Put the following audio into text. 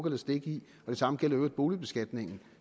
eller stikke i og det samme gælder i øvrigt boligbeskatningen